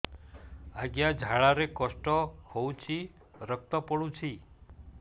ଅଜ୍ଞା ଝାଡା ରେ କଷ୍ଟ ହଉଚି ରକ୍ତ ପଡୁଛି